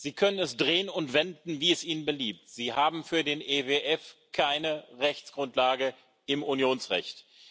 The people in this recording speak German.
Sie können es drehen und wenden, wie es Ihnen beliebt Sie haben für den EWF keine Rechtsgrundlage im Unionsrecht.